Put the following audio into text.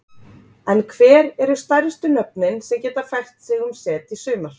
En hver eru stærstu nöfnin sem geta fært sig um set í sumar?